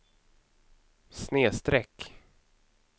snedsträck